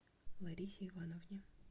ларисе ивановне